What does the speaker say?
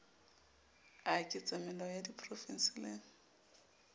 a ketsamelao a diprofense le